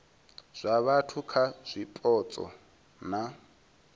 zwa vhathu kha zwipotso na